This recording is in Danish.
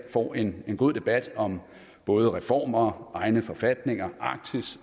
får en god debat om både reformer egne forfatninger arktis